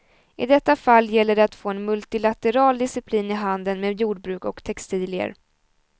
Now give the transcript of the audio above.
I detta fall gäller det att få en multilateral disciplin i handeln med jordbruk och textilier.